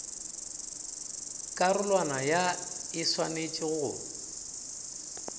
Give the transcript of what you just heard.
karolwana ya e swanetše go